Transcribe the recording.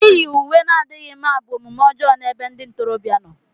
Íyì uwe na-adịghị mma bụ omume ọjọọ n'ebe ndị ntorobịa nọ.